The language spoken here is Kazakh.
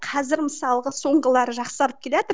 қазір мысалғы соңғылары жақсарып келатыр